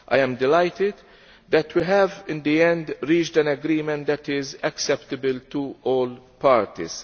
I am delighted that we have, in the end, reached an agreement that is acceptable to all parties.